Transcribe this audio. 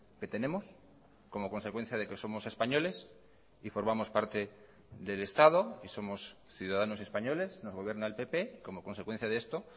que tenemos como consecuencia de que somos españoles y formamos parte del estado y somos ciudadanos españoles nos gobierna el pp como consecuencia de esto